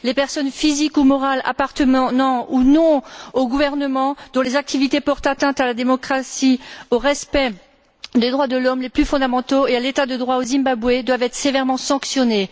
Les personnes physiques ou morales, qui appartiennent ou non aux gouvernements, dont les activités portent atteinte à la démocratie, au respect des droits de l'homme les plus fondamentaux et à l'État de droit au Zimbabwe, doivent être sévèrement sanctionnées.